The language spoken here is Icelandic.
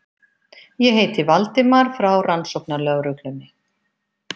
Ég heiti Valdimar, frá Rannsóknarlögreglunni.